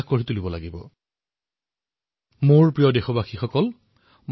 একধৰণে কবলৈ গলে আমি জাবৰৰ পৰা কাঞ্চন সৃষ্টিৰ দিশত অগ্ৰসৰ হব লাগিব